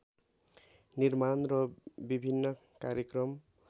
निर्माण र विभिन्न कार्यक्रम